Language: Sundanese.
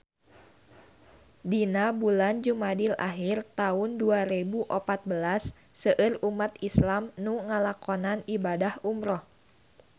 Dina bulan Jumadil ahir taun dua rebu opat belas seueur umat islam nu ngalakonan ibadah umrah